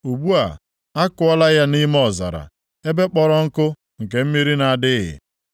Ugbu a, akụọla ya nʼime ọzara ebe kpọrọ nkụ nke mmiri na-adịghị.